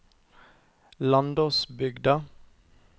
Landåsbygda